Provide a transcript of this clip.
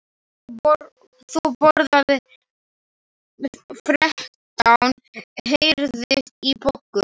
Þú borðaðir þrettán heyrðist í Boggu.